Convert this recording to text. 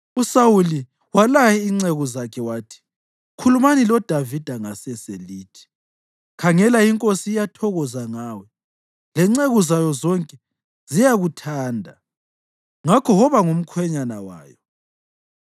USawuli walaya inceku zakhe wathi, “Khulumani loDavida ngasese lithi, ‘Khangela, inkosi iyathokoza ngawe, lenceku zayo zonke ziyakuthanda; ngakho woba ngumkhwenyana wayo.’ ”